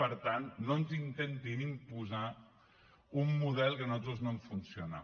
per tant no ens intentin imposar un model que a nosaltres no ens funciona